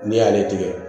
N'i y'ale tigɛ